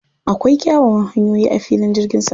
Akwai kyawawan hanyoyi a filin jirgin saman.